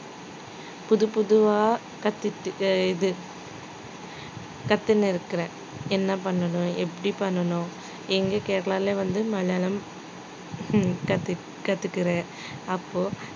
புதுப்புதுவா கத்துக்கிட்டு இது கத்துன்னு இருக்குறேன் என்ன பண்ணணும் எப்படி பண்ணணும் எங்க கேரளால வந்து மலையாளம் ஹம் கத்து~ கத்துக்கிறேன் அப்போ